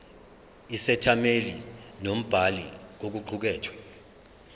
isethameli nombhali kokuqukethwe